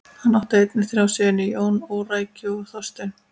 Hann átt einnig þrjá syni: Jón, Órækju og Þorstein.